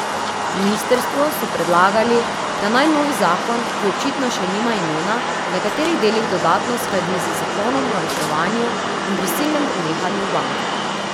Ministrstvu so predlagali, da naj novi zakon, ki očitno še nima imena, v nekaterih delih dodatno uskladi z zakonom o reševanju in prisilnem prenehanju bank.